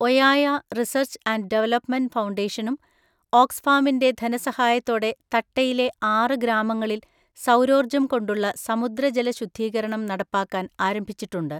ഒയായ research and development ഫൗണ്ടേഷനും ഓക്സ്ഫാമിൻ്റെ ധനസഹായത്തോടെ തട്ടയിലെ ആറ് ഗ്രാമങ്ങളിൽ സൗരോർജ്ജം കൊണ്ടുള്ള സമുദ്രജലശുദ്ധീകരണം നടപ്പാക്കാൻ ആരംഭിച്ചിട്ടുണ്ട്.